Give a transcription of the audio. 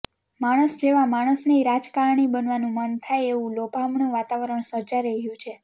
માણસ જેવા માણસનેય રાજકારણી બનવાનું મન થાય એવું લોભામણું વાતાવરણ સર્જાઈ રહ્યું છે